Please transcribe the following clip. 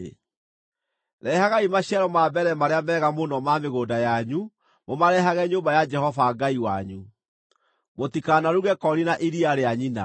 “Rehagai maciaro ma mbere marĩa mega mũno ma mĩgũnda yanyu, mũmarehage nyũmba ya Jehova Ngai wanyu. “Mũtikanaruge koori na iria rĩa nyina.”